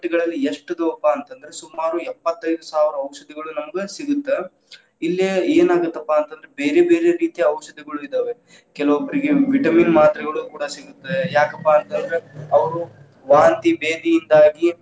ಮಾರುಕಟ್ಟೆಗಳಲ್ಲಿ ಎಷ್ಟ್ ಇದ್ವುಪಾ ಅಂದ್ರ ಸುಮಾರು ಎಪ್ಪತ್ತೈದು ಸಾವ್ರ ಔಷಧಿಗಳು ನಮ್ಗ ಸಿಗುತ್ತ ಇಲ್ಲೇ ಏನಾಗತ್ತಪ್ಪಾ ಅಂತಂದ್ರ ಬೇರೆ ಬೇರೆ ರೀತಿಯ ಔಷಧಗಳು ಇದಾವೆ. ಕೆಲವೋಬ್ರೀಗೆ ವಿಟಮಿನ್‌ ಮಾತ್ರೆಗಳು ಕೂಡಾ ಸಿಗುತ್ತವೆ. ಯಾಕಪ್ಪಾ ಅಂತಂದ್ರ ಅವ್ರು ವಾಂತಿ, ಬೇಧಿಯಿಂದಾಗಿ.